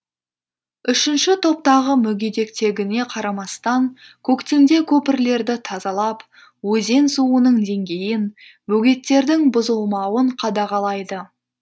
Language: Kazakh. үшінші топтағы мүгедектігіне қарамастан көктемде көпірлерді тазалап өзен суының деңгейін бөгеттердің бұзылмауын қадағалайды